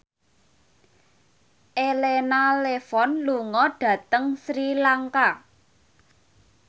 Elena Levon lunga dhateng Sri Lanka